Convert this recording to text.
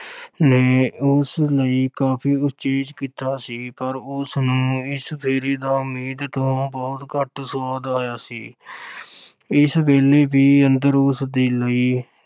ਨੇ ਉਸ ਲਈ ਕਾਫ਼ੀ ਉਚੇਚ ਕੀਤਾ ਸੀ ਪਰ ਉਸ ਨੂੰ ਇਸ ਫੇਰੇ ਦਾ ਉਮੀਦ ਤੋਂ ਬਹੁਤ ਘੱਟ ਸੁਆਦ ਆਇਆ ਸੀ ਇਸ ਵੇਲੇ ਵੀ ਅੰਦਰ ਉਸਦੇ ਲਈ